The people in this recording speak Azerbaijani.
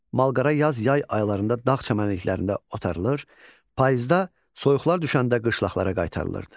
Malqara yaz, yay aylarında dağ çəmənliklərində otarılır, payızda soyuqlar düşəndə qışlaqlara qaytarılırdı.